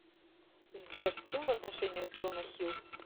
сбер с кем в отношениях джона хилл